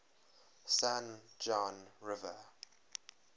san juan river